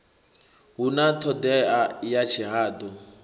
hu na ṱhodea ya tshihaḓu